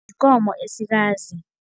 Yikomo esikazi.